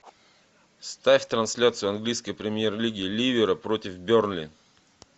ставь трансляцию английской премьер лиги ливера против бернли